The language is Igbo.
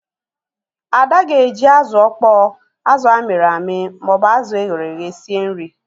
Ada ga-eji azụ ọkpọọ, azụ amịrị amị ma ọ bụ azụ e ghere eghe sie nri.